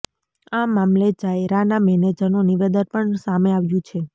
આ મામલે જાયરાના મેનેજરનું નિવેદન પણ સામે આવ્યુ છે